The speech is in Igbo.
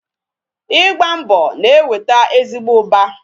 Igba mbọ na-eweta ezigbo ụba